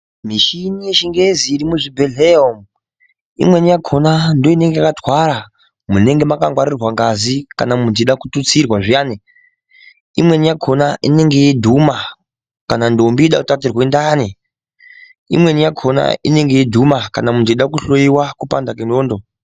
Michini yechingezi irimuzvibhehleya umwu imweni yakona ndooinenge yakatwara munenge mangwaririrwa ngazi kana muntu eida kututsirwa zviyani. Imweni yakona inenge yeidhuma kana ndombi yeida kutaturwa ndani. Imweni yakona inenge yeidhuma kana muntu eida kuhloiwa kupanda kwendxondo.